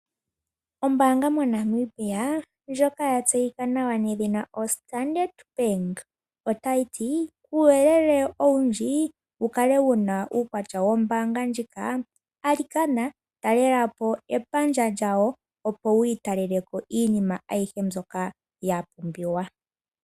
Ombanga moNamibia ndyoka tseyika nawa yoStandard otayi ti uuyelele owundji wukale wuna uukwatya wombaanga ndjika alikana talelapo epandja lyawo opo wiitaleleko iinima ayihe mbyoka yapumbiwa.